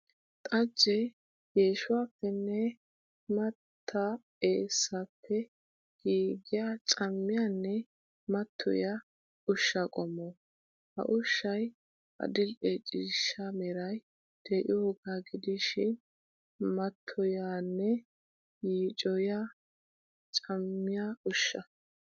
Xajje geeshshuwappenne mattaa eessappe giigiya camiyanne matoyiya ushsha qommo. Ha ushshay adli'e ciishsha meray de'iyooga gidishin matoyiyanne yiicoyiya cammiya ushsha.